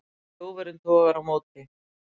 Þjófurinn togar á móti.